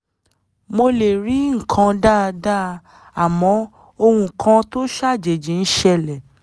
mo lè rí nǹkan dáadáa àmọ́ ohun kan tó ṣàjèjì ń ṣẹlẹ̀